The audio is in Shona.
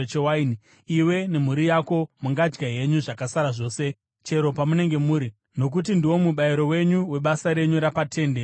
iwe nemhuri yako mungadya henyu zvakasara zvose chero pamunenge muri, nokuti ndiwo mubayiro wenyu webasa renyu rapaTende Rokusangana.